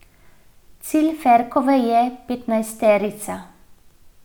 Cilj Ferkove je petnajsterica.